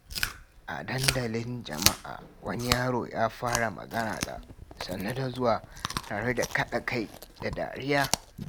A dandalin jama’a, wani yaro ya fara magana da "Sannu da zuwa" tare da kaɗa kai da dariya.